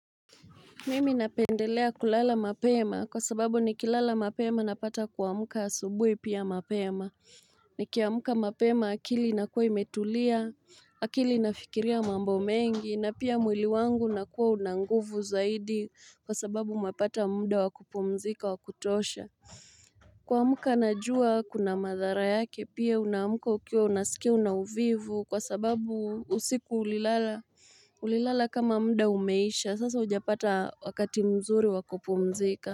Mimi napendelea kulala mapema kwa sababu ni kilala mapema napata kuamka asubuhi pia mapema ni kiamka mapema akili inakuwa imetulia akili nafikiria mambo mengi na pia mwili wangu nakuwa una nguvu zaidi kwa sababu mapata muda wa kupumzika wakutosha Kwa muka anajua kuna madhara yake pia unaamka ukiwa unasikia una uvivu kwa sababu usiku ulilala Ulilala kama muda umeisha sasa hujapata wakati mzuri wakupumzika.